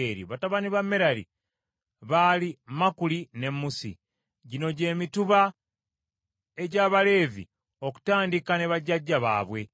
Batabani ba Merali baali Makuli ne Musi. Gino gy’emituba egy’Abaleevi okutandika ne bajjajja baabwe: